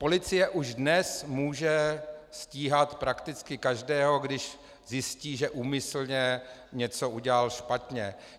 Policie už dnes může stíhat prakticky každého, když zjistí, že úmyslně něco udělal špatně.